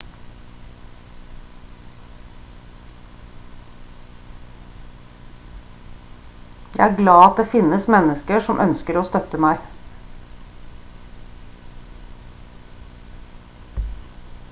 jeg er glad at det finnes mennesker som ønsker å støtte meg